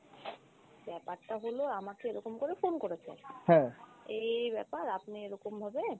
ব্যাপারটা হল আমাকে এরোকম করে phone করেছে, এই এই ব্যাপার আপনে এরোকমভাবে